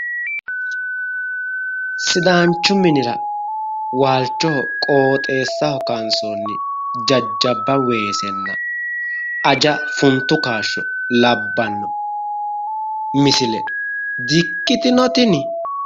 sidaanichu minira waalichoho qooxeessaho kaansoonni jajjaba weesena aja funtu kaashsho di'ikkitino tinni?